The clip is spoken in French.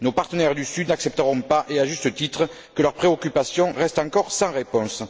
Nos partenaires du sud n'accepteront pas, à juste titre, que leurs préoccupations restent encore sans réponse.